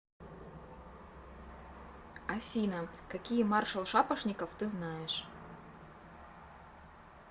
афина какие маршал шапошников ты знаешь